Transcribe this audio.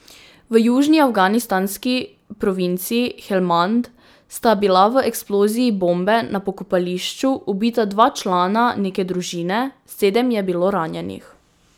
V južni afganistanski provinci Helmand sta bila v eksploziji bombe na pokopališču ubita dva člana neke družine, sedem je bilo ranjenih.